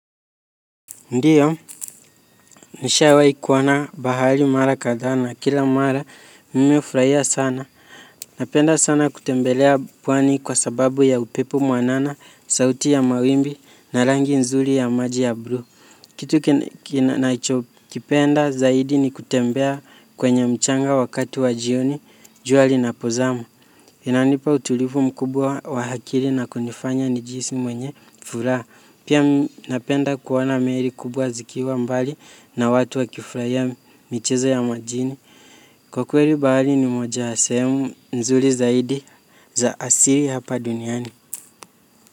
Ndiyo, nishawai kuona na bahali mara kadha na kila mara, mime furahia sana. Napenda sana kutembelea pwani kwa sababu ya upepo mwanana, sauti ya mawimbi na rangi nzuri ya maji ya bluu. Kitu nacho kipenda zaidi ni kutembea kwenye mchanga wakati wa jioni, jua lina pozama. Inanipa utulivu mkubwa wa hakiri na kunifanya nijihisi mwenye furaha. Pia napenda kuona meri kubwa zikiwa mbali na watu wa kifurahiya michezo ya majini. Kwa kweli bahali ni moja ya sehemu nzuri zaidi za asiri hapa duniani.